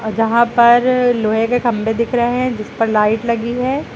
यहां पर लोहे के खम्भे दिख रहे हैं जिस पर लाइट लगी है।